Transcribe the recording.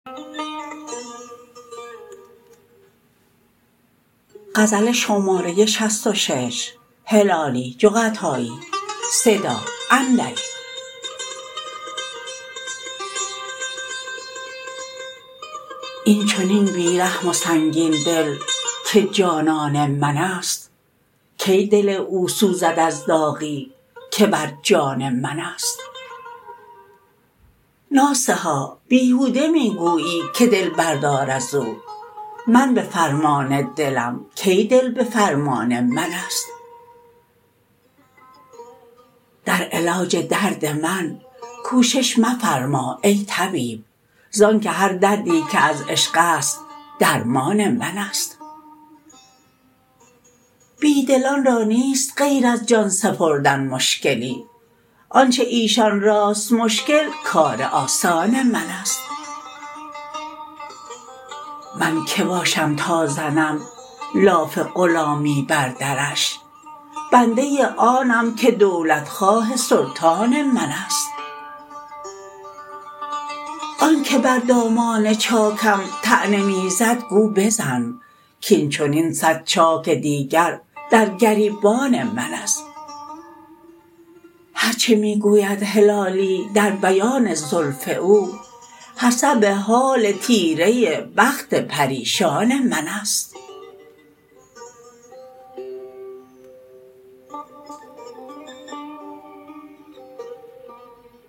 این چنین بیرحم و سنگین دل که جانان منست کی دل او سوزد از داغی که بر جان منست ناصحا بیهوده میگویی که دل بردار ازو من بفرمان دلم کی دل بفرمان منست در علاج درد من کوشش مفرما ای طبیب زانکه هر دردی که از عشقست درمان منست بیدلان را نیست غیر از جان سپردن مشکلی آنچه ایشان راست مشکل کار آسان منست من که باشم تا زنم لاف غلامی بر درش بنده آنم که دولت خواه سلطان منست آن که بر دامان چاکم طعنه می زد گو بزن کین چنین صد چاک دیگر در گریبان منست هر چه می گوید هلالی در بیان زلف او حسب حال تیره بخت پریشان منست